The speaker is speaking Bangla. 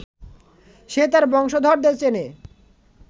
সে তার বংশধরদের চেনে